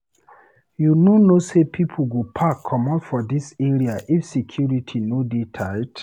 You no know sey pipo go pack comot for dis area if security no dey tight?